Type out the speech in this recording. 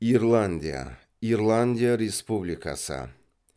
ирландия ирландия республикасы